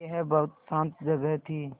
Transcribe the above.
यह बहुत शान्त जगह थी